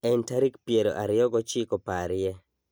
En tarik piero ariyo gochiko parie